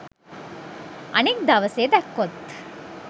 අනිත් දවසේ දැක්කොත්